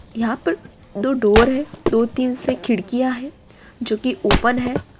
यहाँ पर दो डोर है | दो-तीन से खिड़कियाँ हैं जो कि ओपेन हैं।